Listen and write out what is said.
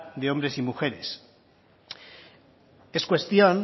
de hombres y mujeres es cuestión